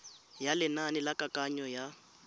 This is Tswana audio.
ya lenane la kananyo ya